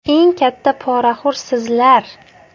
Eng katta poraxo‘r sizlar.